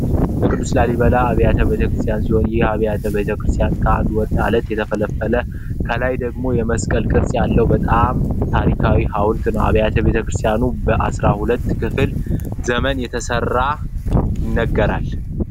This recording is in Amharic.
የቅዱስ ላሊበላ አብያተ ቤተክርስቲያን ሲሆን ይህ አብያተ ቤተ ክርስቲያን ከአንድ ወጥ አለት የተፈለና ከላይ ደግሞ የመስቀል ቅርጽ ያለው በጣም ታሪካዊ ሀውልት ነው። አብያተ ቤተ ክርስቲያን በአስራ ሁለተኛው ክፍለ ዘመን እንደተመሰረተ ይነገራል።